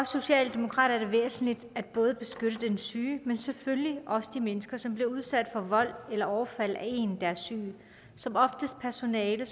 socialdemokratiet er det væsentligt både at beskytte den syge men selvfølgelig også de mennesker som bliver udsat for vold eller overfald af en der er syg som oftest personale